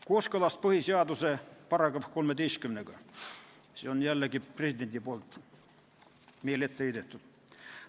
Kooskõlast põhiseaduse § 13-ga, siin on jällegi president meile etteheiteid teinud.